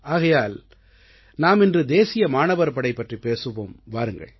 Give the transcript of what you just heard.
ஆகையால் நாம் இன்று தேசிய மாணவர் படை பற்றிப் பேசுவோம் வாருங்கள்